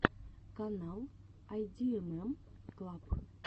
канал айдиэмэм клаб